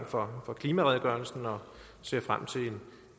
for klimaredegørelsen og ser frem til